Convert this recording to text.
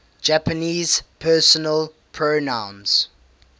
japanese personal pronouns